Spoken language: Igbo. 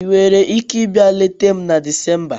Ị nwere ike ịbịa leta m na Disemba?